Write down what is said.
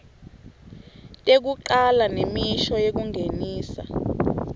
tekucala nemisho yekungenisa